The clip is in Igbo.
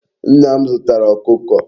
Nna m zutara Okuko